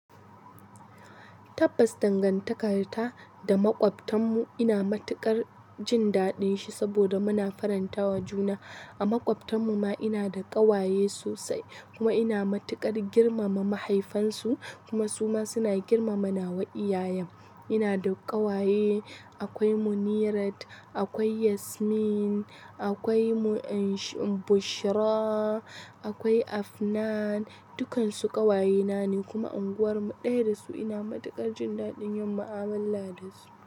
Tabbas dangartakarta da makwabtan mu ina matukar jin daɗin shi saboda muna faranta wa juna. A maƙwabtan mu ma ina da ƙawaye sosai kuma ina matuƙar girmama mahaifansu kuma su ma suna girmama nawa iyayen. Ina da ƙawaye, akwai Munirat, akwai Yasmin, akwai Bushrah, akwai Afnan, dukansu ƙawayenane kuma unguwarmu ɗaya da su ina matuƙar jin daɗin yin mu'amala da su.